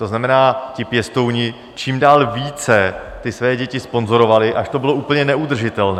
To znamená, ti pěstouni čím dál více ty své děti sponzorovali, až to bylo úplně neudržitelné.